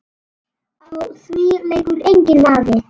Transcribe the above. Á því leikur enginn vafi.